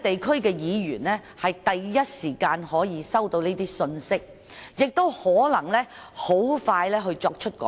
區議員第一時間收到這些信息，也可能可以盡快作出改善。